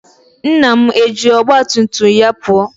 Nna m eji ọgba tum tum ya pụọ?